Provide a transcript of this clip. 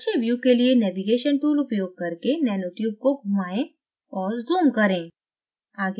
अच्छे view के लिए navigation tool उपयोग करके nanotube को घुमाएं और zoom करें